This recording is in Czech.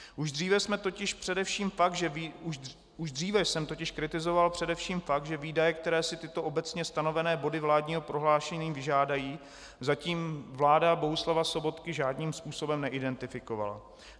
Už dříve jsem totiž kritizoval především fakt, že výdaje, které si tyto obecně stanovené body vládního prohlášení vyžádají, zatím vláda Bohuslava Sobotky žádným způsobem neidentifikovala.